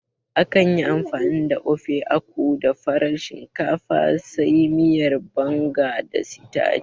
Akan yi amfani da Ofe Akwu da farar shinkafa, sai miyar Banga da sitaci.